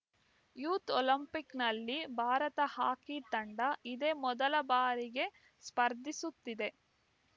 youth ಒಲಿಂಪಿಕ್‌ನಲ್ಲಿ Bharat hockey ತಂಡ ಇದೇ ಮೊದಲ ಬಾರಿಗೆ ಸ್ಪರ್ಧಿಸುತ್ತಿದೆ